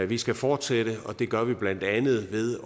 vi skal fortsætte og det gør vi blandt andet ved at